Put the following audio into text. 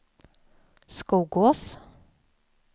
Skogås